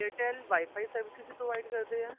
airtel WIFI services ਵੀ provide ਕਰਦੇ ਆ